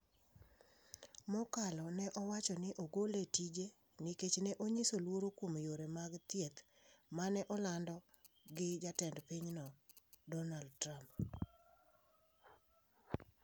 Mokalo ne owacho ni ne ogole e tije nikech ne onyiso luoro kuom yore mag thieth mane olando gi Jatend pinyno Donald Trump.